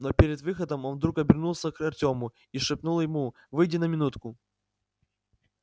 но перед выходом он вдруг обернулся к артему и шепнул ему выйди на минутку